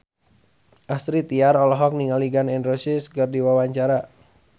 Astrid Tiar olohok ningali Gun N Roses keur diwawancara